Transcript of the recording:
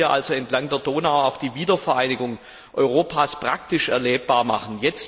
Man kann hier also entlang der Donau die Wiedervereinigung Europas praktisch erlebbar machen.